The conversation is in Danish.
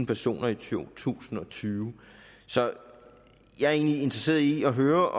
personer i to tusind og tyve så jeg er egentlig interesseret i at høre